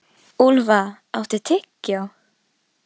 Úlfa, áttu tyggjó?